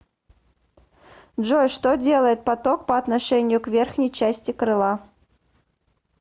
джой что делает поток по отношению к верхней части крыла